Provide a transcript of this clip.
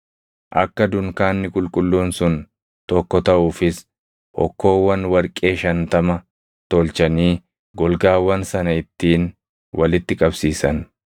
Akka dunkaanni qulqulluun sun tokko taʼuufis hokkoowwan warqee shantama tolchanii golgaawwan sana ittiin walitti qabsiisan.